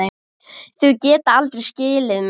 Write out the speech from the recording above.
Þau geta aldrei skilið mig.